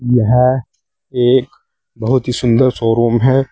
यह एक बहुत ही सुंदर शोरूम हैं।